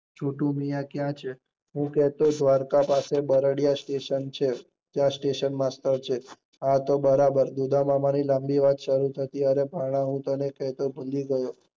છોટું મિયાં ક્યાં છે? હું કેહતો દ્વારકા પાસે બરડીયા સ્ટેશન છે ત્યાં સ્ટેશન માસ્ટેટ છે આ તો બર્બર, ઉદ્દમામાંની લાંબી આવી શેર થતી હું કેહતા ભૂલી ગયો.